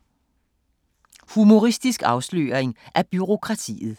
Humoristisk afsløring af bureaukratiet